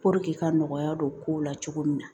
k'a nɔgɔya don kow la cogo min na